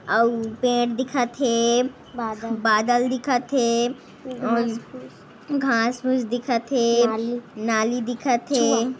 अउ पेड़ दिखथे बादल दिखथे घास फूस दिखथे नाली दिखथ--